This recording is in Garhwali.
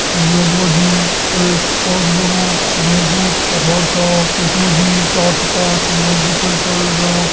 यख मा जी एक बहोत बड़ु ढुंगु पहाड़ छा यख मा जी चार से पांच लोग भी छन चढ़न लग्यां।